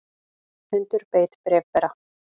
Hundur beit bréfbera